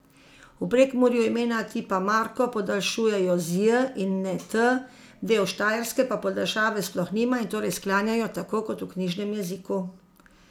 V Prekmurju imena tipa Marko podaljšujejo z j in ne t, del Štajerske pa podaljšave sploh nima in torej sklanjajo tako kot v knjižnem jeziku.